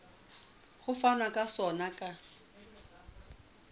ho fanwa ka sona ka